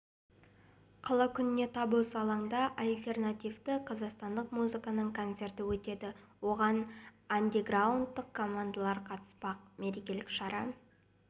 қала күнінде тап осы алаңда альтернативті қазақстандық музыканың концерті өтеді оған андеграундтық командалар қатыспақ мерекелік шара